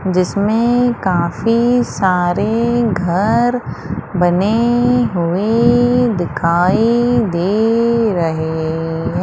जिसमें काफी सारे घर बने हुए दिखाई दे रहे--